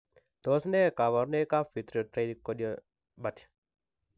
Tos achon kabarunaik ab Vitreotinochoroidopathy